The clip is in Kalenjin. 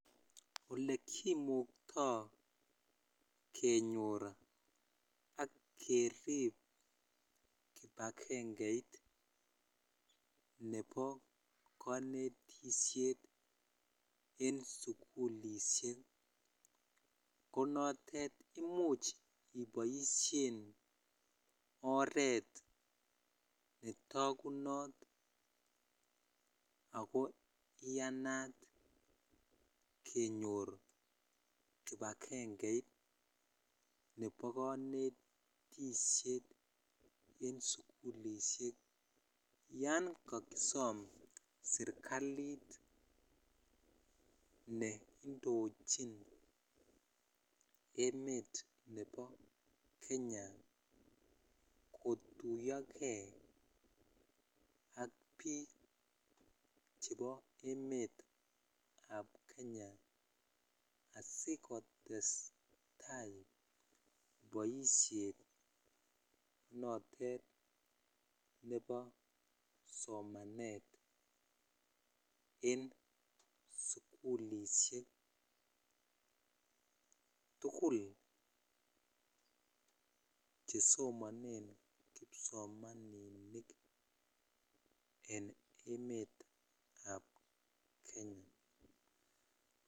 olekimuktoo kenyoor ak kerib kipagengeit nebo konetisyeet en sugulishek konotet imuch iboishen oreet netogunoot ago iyanaat kenyoor kipagengeit nebo konetisyeet en sugulishek, yoon kagisoom serkaliit neindochin emet nebo kenya kotuyogee ak biik chebo emeet ab kenya asigotestai boisheet noteet nebo somaneet en sugulishek, tugul chesomonen kipsomaninik en emet ab kenya.